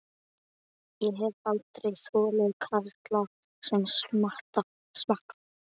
Ég hef aldrei þolað karla sem smakka.